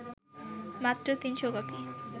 মাত্র ৩০০ কপি